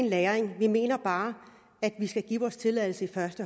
læring vi mener bare at vi skal give vores tilladelse først